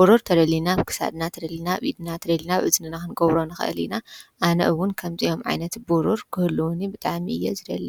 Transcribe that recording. ብሩር ተደሊና ኣብ ክሳድናት ደሊና ቢድና ተደሊናብ እዝኒና ኽንጐብሮንኽእሊኢና ኣነእውን ከምጺኦም ዓይነት ቡሩር ክህሉውኒ ብጣሚ እየ እዝደል